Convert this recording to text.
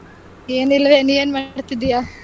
ಏನಿಲ್ಲವೇ ನೀನ್ ಏನ್ ಮಾಡ್ತಿದೀಯಾ?